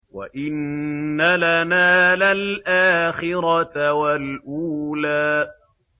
وَإِنَّ لَنَا لَلْآخِرَةَ وَالْأُولَىٰ